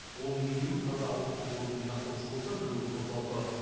оның екеуі таза ауыз су қорын жинақтаушы болса біреуі қосалқы